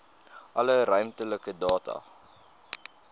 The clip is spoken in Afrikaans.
alle ruimtelike data